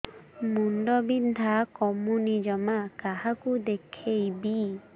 ମୁଣ୍ଡ ବିନ୍ଧା କମୁନି ଜମା କାହାକୁ ଦେଖେଇବି